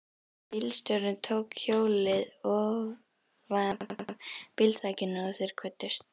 Bílstjórinn tók hjólið ofanaf bílþakinu og þeir kvöddust.